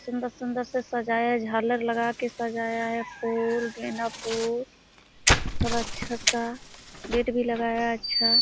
सुंदर-सुंदर से सजाया झालर लगाकर सजाया है फूल गेंदा फूल सब अच्छा सा गेट भी लगाया है अच्छा।